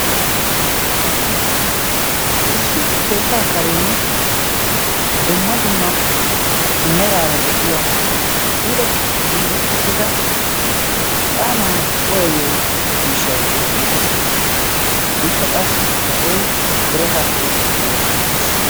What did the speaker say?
issi keettaa kareni dumma dumma meraara de7iya puulatti giigi uttida ixaanaa cuyeyo miishshai beettees. ikka qassi issoi birataappe meretti uttiis.